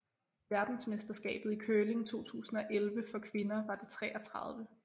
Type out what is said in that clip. Verdensmesterskabet i curling 2011 for kvinder var det 33